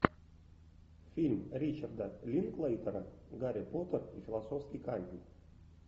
фильм ричарда линклейтера гарри поттер и философский камень